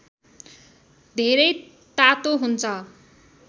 धेरै तातो हुन्छ